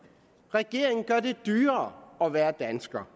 regeringen gør det dyrere at være dansker